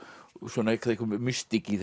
svona mystík í